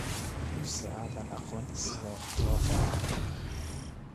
Mise aadan aqoon sida wax loo qoro?